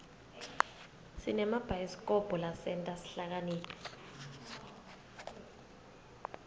sinemabhayisikobho lasenta sihlakaniphe